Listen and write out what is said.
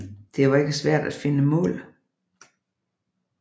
Det var ikke svært at finde mål